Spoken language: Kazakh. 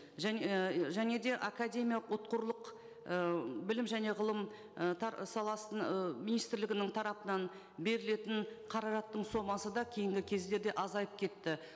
және де академиялық ұтқырлық і білім және ғылым і саласын і министрлігінің тарапынан берілетін қаражаттың сомасы да кейінгі кездерде азайып кетті